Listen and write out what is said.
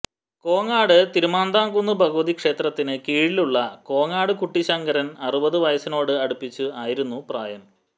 കോങ്ങാട് തിരുമന്ധാംകുന്ന് ഭഗവതി ക്ഷേത്രത്തിന് കീഴിലുള്ള കോങ്ങാട് കുട്ടിശങ്കരന് അറുപത് വയസിനോട് അടുപ്പിച്ച് ആയിരുന്നു പ്രായം